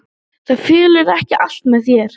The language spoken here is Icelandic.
Það fellur ekki allt með þér.